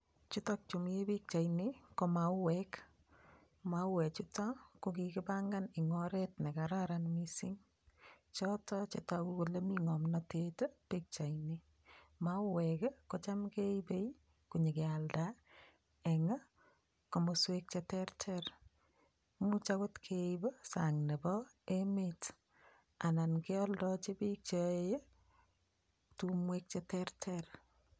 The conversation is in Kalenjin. Chutok chu mi pikchaini ko mauwek. Mauwek chuto ko kigibangan eng oret ne kararan mising. Chotok che tagu kole mi ngomnatet ii pikchaini. Mauwek ii kocham keibe konyogealda eng komoswek cheterter. Imuch agot keib sang nebo emet anan keoldochi biik yae tumwek che terter.